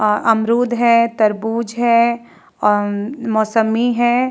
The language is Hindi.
अ अमरुद है तरबूज है अ मौसम्बी है।